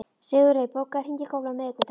Sigurey, bókaðu hring í golf á miðvikudaginn.